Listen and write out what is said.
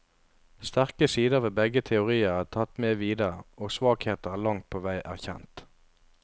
Sterke sider ved begge teorier er tatt med videre, og svakheter langt på vei erkjent.